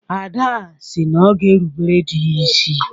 Ada si na ọ ga-erubere di ya isi.